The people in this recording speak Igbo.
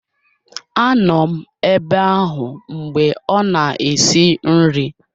Anọ m ebe ahụ mgbe ọ na-esi nri